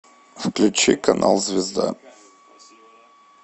включи канал звезда